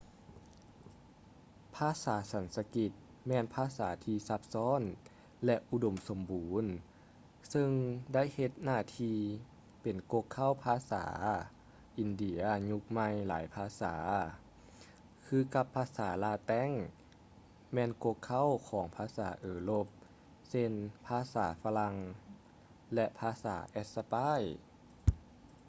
ພາສາສັນສະກິດ ແມ່ນພາສາທີ່ຊັບຊ້ອນ ແລະ ອຸດົມສົມບູນ ຊຶ່ງໄດ້ເຮັດໜ້າທີ່ ເປັນກົກເຄົ້າພາສາຂອງພາສາອິນເດຍຍຸກໃໝ່ຫຼາຍພາສາ ຄືກັບພາສາລາແຕັງ ແມ່ນກົກເຄົ້າຂອງພາສາເອີຣົບ ເຊັ່ນ ພາສາຝຼັ່ງ ແລະ ພາສາແອັດສະປາຍ